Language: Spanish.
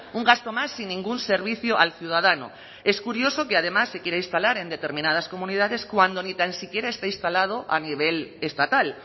un gasto más sin ningún servicio al ciudadano es curioso que además se quiera instalar en determinadas comunidades cuando ni tan siquiera está instalado a nivel estatal